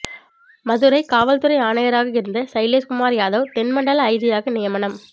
மதுரை காவல்துறை ஆணையராக இருந்த சைலேஸ்குமார் யாதவ் தென் மண்டல ஐஜியாக நியமனம்